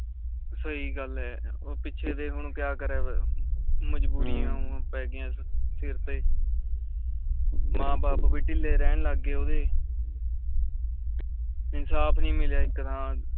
ਸਹੀ ਗੱਲ ਆ ਓ ਪਿੱਛੇ ਦੇ ਹੁਣ ਕਯਾ ਕਰੇ ਵ ਮਜਬੂਰੀਆਂ ਪੈ ਗਿਆ ਸਰ ਤੇ ਮਾਂ ਬਾਪ ਵੀ ਢਿਲੇ ਰਹਿਣ ਲੱਗ ਗਏ ਓਹਦੇ ਇਨਸਾਫ ਨੀ ਮਿਲਿਆ ਇਕ ਤਰ੍ਹਾਂ ਦਾ